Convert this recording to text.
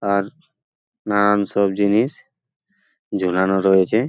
আর নানান সব জিনিস ঝোলানো রয়েছে।